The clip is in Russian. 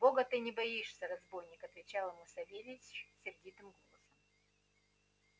бога ты не боишься разбойник отвечал ему савельич сердитым голосом